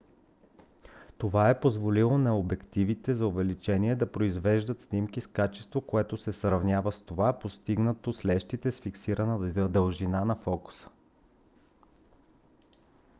това е позволило на обективите за увеличение да произвеждат снимки с качество което се сравнява с това постигнато с лещите с фиксирана дължина на фокуса